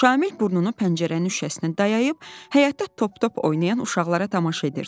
Şamil burnunu pəncərənin şüşəsinə dayayıb, həyətdə top-top oynayan uşaqlara tamaşa edirdi.